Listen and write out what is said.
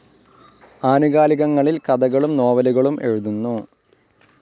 ആനുകാലികങ്ങളിൽ കഥകളും നോവലുകളും എഴുതുന്നു.